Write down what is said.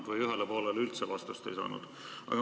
Õigemini ühele poolele üldse vastust ei saanud.